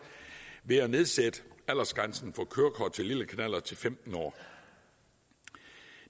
ved at nedsætte aldersgrænsen for kørekort til lille knallert til femten år